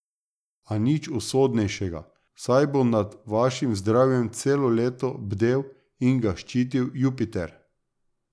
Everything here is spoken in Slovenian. A nič usodnejšega, saj bo nad vašim zdravjem celo leto bdel in ga ščitil Jupiter.